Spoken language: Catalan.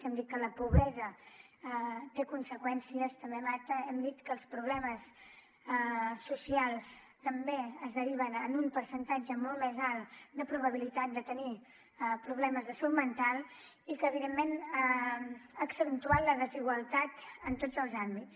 hem dit que la pobresa té conseqüències també mata hem dit que els problemes socials també es deriven en un percentatge molt més alt de probabilitat de tenir problemes de salut mental i que evidentment ha accentuat la desigualtat en tots els àmbits